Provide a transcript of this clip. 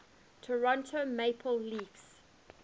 toronto maple leafs